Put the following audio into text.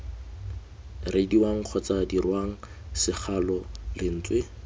reediwang kgotsa dirwang segalo lentswe